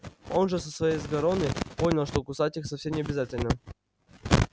он же со своей сгороны понял что кусать их совсем необязательно